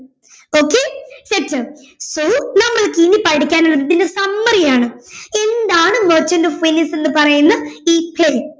okayset അ so നമ്മൾക് ഇനി പഠിക്കാൻ ഉള്ളത് ഇതിന്റെ summary ആണ് എന്താണ് merchant of venice എന്ന് പറയുന്ന ഈ play